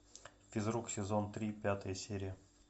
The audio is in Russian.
физрук сезон три пятая серия